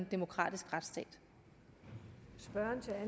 demokratisk retsstat